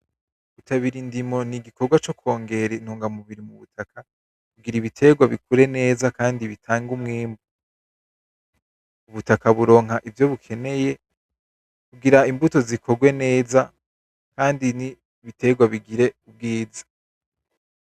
Gutabira indimo n'igikogwa cokongera intungamubiri mubutaka kugira ibitegwa bikure neza kandi bitange umwimbu, ubutaka buronka ivyo bukeneye kugira imbuto zikorwe neza kandi n'ibitegwa bigire ubwiza.